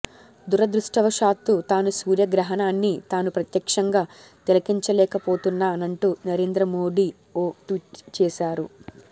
దురదృష్టవశావత్తూ తాను సూర్య గ్రహణాన్ని తాను ప్రత్యక్షంగా తిలకించలేకపోతున్నానంటూ నరేంద్ర మోడీ ఓ ట్వీట్ చేశారు